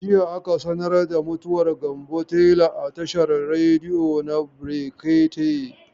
Jiya aka sanar da mutuwar Gambo tela a tashar rediyo na brekete.